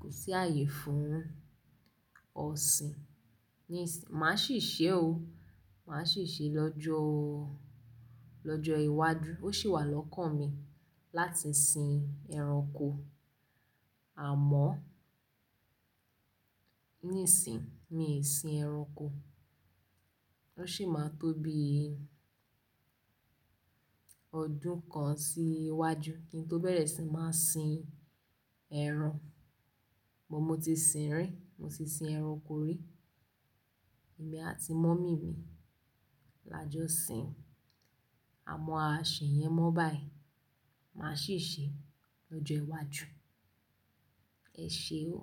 kò sí àyè fún ọ̀sìn nísín. Màá ṣì ṣe o, màá ṣì ṣe lọ́jọ́, lọ́jọ́ iwájú. Ó sì wà lọ́kàn mi láti sin ẹranko, àmọ́ níìsín mi ò sin ẹranko. Ó sì máa tó bí ọdún kan sí iwájú kí n tó bẹ̀rẹ̀ sí máa sin ẹran. Mo ti sin rí, mo ti sin ẹranko rí, èmi àti mọ́mì mi la jọ sin. Àmọ́ a ṣe yẹn mọ́ báyì, màá ṣì ṣe lọ́jọ́ iwájú. Ẹ ṣe o.